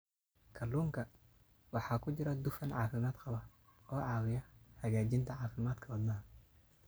Kalluunka waxaa ku jira dufan caafimaad qaba oo caawiya hagaajinta caafimaadka wadnaha.